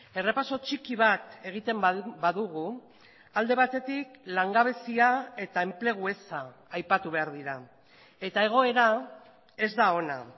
errepaso txiki bat egiten badugu alde batetik langabezia eta enplegu eza aipatu behar dira eta egoera ez da ona